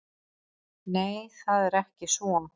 Nei, það er ekki svo.